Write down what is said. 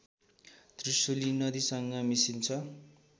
त्रिशुली नदीसँग मिसिन्छ